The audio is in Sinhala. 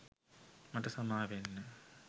මට සමාවෙන්න